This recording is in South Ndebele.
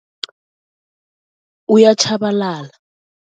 Uyatjhabalala.